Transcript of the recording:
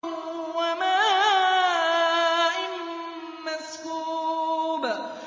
وَمَاءٍ مَّسْكُوبٍ